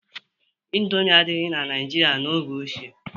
Indomie adịghị na Naijiria n'oge ochie.